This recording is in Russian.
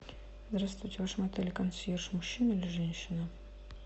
здравствуйте в вашем отеле консьерж мужчина или женщина